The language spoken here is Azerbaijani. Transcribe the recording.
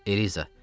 Eliza.